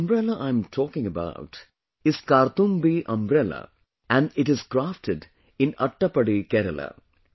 But the umbrella I am talking about is ‘Karthumbhi Umbrella’ and it is crafted in Attappady, Kerala